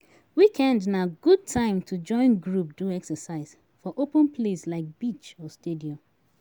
Weekend na good time to join group do exercise for open place like beach or stadium